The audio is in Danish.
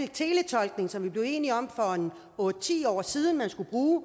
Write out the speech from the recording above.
teletolkning som vi blev enige om for otte ti år siden man skulle bruge